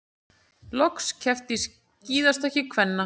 Loks keppt í skíðastökki kvenna